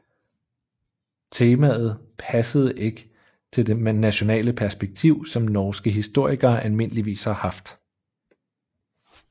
Temaet passet heller ikke til det nationale perspektiv som norske historikere almindeligvis har haft